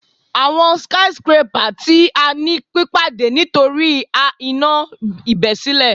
Awọn skyscrapper ti a ni pipade nitori a iná ibesile